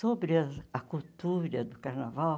Sobre ah a cultura do carnaval,